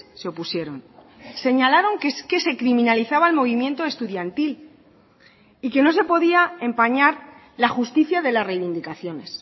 se opusieron señalaron que es que se criminalizaba el movimiento estudiantil y que no se podía empañar la justicia de las reivindicaciones